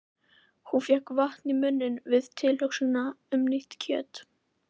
Hún fékk vatn í munninn við tilhugsunina um nýtt kjöt.